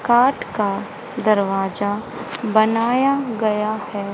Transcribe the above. काठ का दरवाजा बनाया गया है।